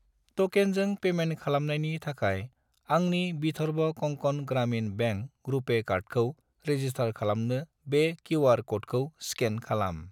ट'केनजों पेमेन्ट खालामनायनि थाखाय आंनि विधर्व कंकन ग्रामिन बेंक रुपे कार्डखौ रेजिस्टार खालामनो बे किउ.आर. क'डखौ स्केन खालाम।